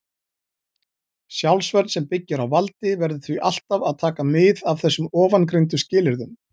Sjálfsvörn sem byggir á valdi verður því ávallt að taka mið af þessum ofangreindu skilyrðum.